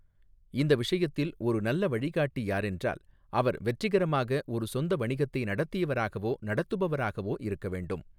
இந்த விஷயத்தில் ஒரு நல்ல வழிகாட்டி யாரென்றால், அவர் வெற்றிகரமாக ஒரு சொந்த வணிகத்தை நடத்தியவராகவோ நடத்துபராகவோ இருக்க வேண்டும்.